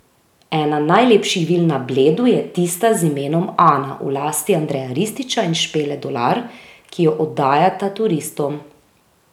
Ena najlepših vil na Bledu je tista z imenom Ana v lasti Andreja Rističa in Špele Dolar, ki jo oddajata turistom.